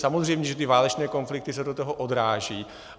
Samozřejmě že ty válečné konflikty se do toho odrážejí.